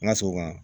N ka so kɔnɔ